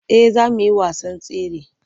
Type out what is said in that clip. Eh za mu yi wasan tsare.